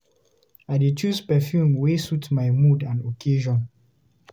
I dey choose perfume wey suit my mood and occasion.